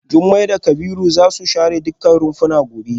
Jumai da Kabiru za su share dukkan rumfuna gobe.